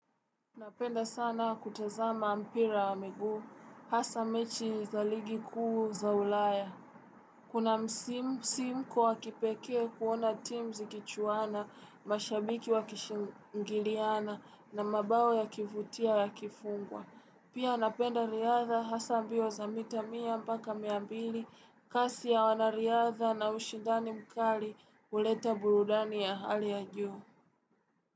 Napenda sana kutazama mpira wa miguu, hasa mechi za ligi kuu za ulaya. Kuna msim msimko wa kipekee kuona team zikichuana, mashabiki wakishingiliana na mabao yakivutia yakifungwa. Pia napenda riadha hasa ambio za mita mia mpaka mia mbili, kasi ya wanariadha na ushindani mkali uleta burudani ya hali ya juu.